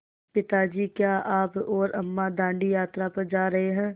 पिता जी क्या आप और अम्मा दाँडी यात्रा पर जा रहे हैं